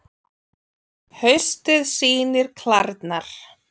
Haustið sýnir klærnar